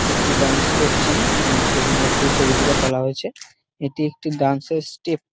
একটি ডান্স করছেন এবং সেই মুহূর্তে এই ছবিটিকে তোলা হয়েছে এটি একটি ডান্স -এর স্টেপ ।